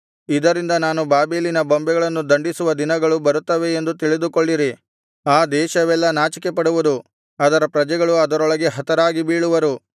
ಇದರಿಂದ ನಾನು ಬಾಬೆಲಿನ ಬೊಂಬೆಗಳನ್ನು ದಂಡಿಸುವ ದಿನಗಳು ಬರುತ್ತವೆ ಎಂದು ತಿಳಿದುಕೊಳ್ಳಿರಿ ಆ ದೇಶವೆಲ್ಲಾ ನಾಚಿಕೆಪಡುವುದು ಅದರ ಪ್ರಜೆಗಳು ಅದರೊಳಗೆ ಹತರಾಗಿ ಬೀಳುವರು